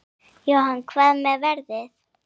Jóhann: Hvað með veðrið?